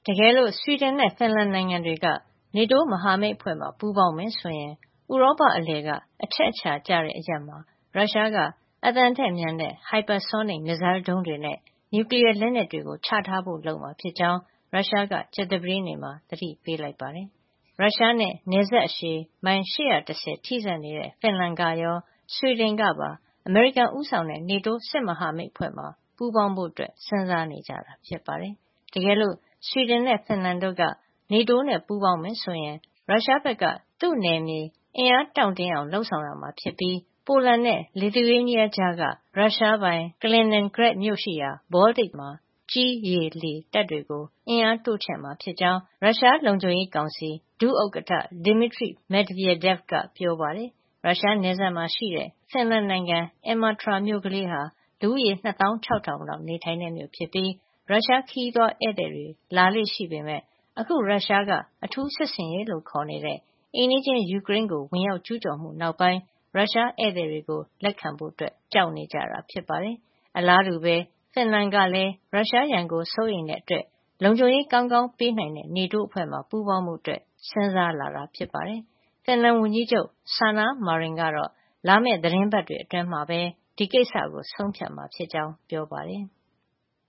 တကယ်လို့ ဆွီဒင်နဲ့ ဖင်လန်နိုင်ငံတွေက NATO မဟာမိတ်အဖွဲ့မှာ ပူးပေါင်းမယ်ဆိုရင် ဥရောပအလယ်က အချက်အချာကျတဲ့ အရပ်မှာ ရုရှားက အသံထက်မြန်တဲ့ hypersonic မစ်ဇိုင်းဒုံးတွေနဲ့ နျူကလီယား လက်နက်တွေ ချထားဖို့ လုပ်မှာဖြစ်ကြောင်း ရုရှားက ကြာသပတေးနေ့မှာ သတိပေးလိုက်ပါတယ်။ ရုရှားနဲ့ နယ်စပ်အရှည် မိုင် ၈၁၀ ထိစပ်နေတဲ့ ဖင်လန်ကရော ဆွီဒင်ကပါ အမေရိကန်ဦးဆောင်တဲ့ NATO စစ်မဟာမိတ်အဖွဲ့မှာ ပူးပေါင်းဖို့ စဉ်းစားနေကြတာဖြစ်ပါတယ်။ တကယ်လို့ ဆွီဒင်နဲ့ ဖင်လန်တို့က NATO နဲ့ပူးပေါင်းမယ်ဆိုရင် ရုရှားဘက်က သူ့နယ်မြေအင်အား တောင့်တင်းအောင် လုပ်ဆောင်ရမှာ ဖြစ်ပြီး၊ ပိုလန်နဲ့ Lithuania ကြားက ရုရှားပိုင် Kaliningrad မြို့ရှိရာ ဘောလတစ် ပင်လယ်မှာ ကြည်း၊ ရေ၊ လေ တပ်တွေကို အင်အားတိုးချဲ့မှာ ဖြစ်ကြောင်း ရုရှားလုံခြုံရေးကောင်စီ ဒုဥက္ကဌ Dmitry Medvedev က ပြောပါတယ်။ ရုရှားနယ်စပ်မှာရှိတဲ့ ဖင်လန်နိုင်ငံ Imatra မြို့ကလေးဟာ လူဦးရေ ၂၆,၀၀၀ လောက် နေထိုင်တဲ့ မြို့ဖြစ်ပြီး ရုရှားခရီးသွားဧည့်သည်တွေ လာလေ့ရှိပေမယ့် အခု ရုရှားက အထူးစစ်ဆင်ရေးလို့ ခေါ်နေတဲ့ အိမ်နီးချင်း ယူကရိန်းကို ဝင်ကျူးကျော်မှု နောက်ပိုင်း ရုရှားဧည့်သည်တွေကို လက်ခံဖို့ ကြောက်နေကြတာ ဖြစ်ပါတယ်။ အလားတူပဲ ဖင်လန်ကလည်း ရုရှားရန်ကို စိုးရိမ်တာကြောင့် လုံခြုံရေးကောင်းကောင်း ပေးနိုင်တဲ့ NATO အဖွဲ့မှာ ပူးပေါင်းဖို့ စဉ်းစားလာတာဖြစ်ပါတယ်။ ဖင်လန်ဝန်ကြီးချုပ် Sanna Marin ကတော့ လာမယ့် သီတင်းပတ်တွေအတွင်းမှာ ဒီကိစ္စကို ဆုံးဖြတ်မှာဖြစ်ကြောင်း ပြောပါတယ်။